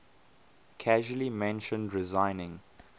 casually mentioned resigning